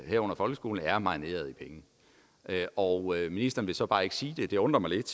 herunder folkeskolen er marineret i penge og ministeren vil så bare ikke sige det det undrer mig lidt